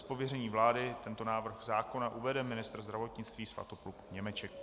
Z pověření vlády tento návrh zákona uvede ministr zdravotnictví Svatopluk Němeček.